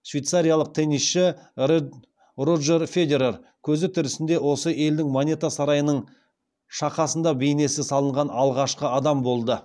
швейцариялық теннисші роджер федерер көзі тірісінде осы елдің монета сарайының шақасында бейнесі салынған алғашқы адам болды